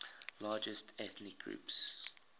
largest ethnic groups